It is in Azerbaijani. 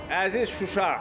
Əziz Şuşa!